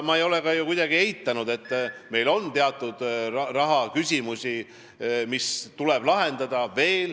Ma ei ole ju kuidagi eitanud, et meil on teatud rahaküsimusi, mis tuleb veel lahendada.